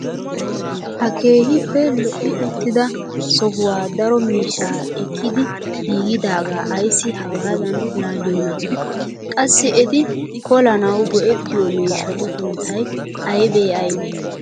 Ha keehippe lo"i uttida sohuwaa daro miishshaa ekkidi giigidaagaa ayssi hagaadan laaliyoonaa? Qassi eti kolanawu go"ettiyoo miishshatu sunttay aybee aybee?